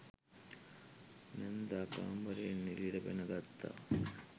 නැන්දා කාමරයෙන් එළියට පැන ගත්තා.